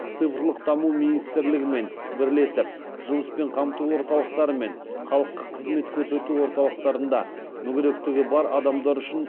цифрлық даму министрлігімен бірлесіп жұмыспен қамту орталықтары мен халыққа қызмет көрсету орталықтарында мүгедектігі бар адамдар үшін